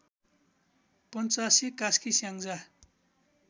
Panchase Kaski Syangja